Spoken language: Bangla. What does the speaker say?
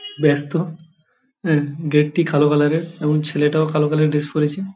ব্যস্ত অ্যা গেট -টি কালো কালার -এর এবং ছেলেটাও কালো কালার -এর ড্রেস পরেছে।